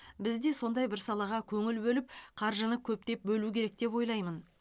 біз де сондай бір салаға көңіл бөліп қаржыны көптеп бөлу керек деп ойлаймын